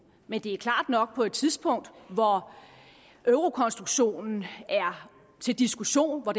men det er klart nok at på et tidspunkt hvor eurokonstruktionen er til diskussion og